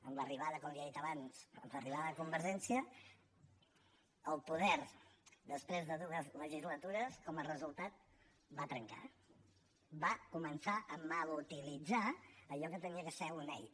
amb l’arribada com li he dit abans amb l’arribada de convergència al poder després de dues legislatures com a resultat va trencar va començar a mal utilitzar allò que havia de ser una eina